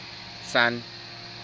sun